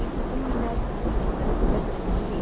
ई क़ुतुब मीनार चीसी ईमारत लग रही हे ।